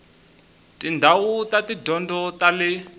tindhawu ta tidyondzo ta le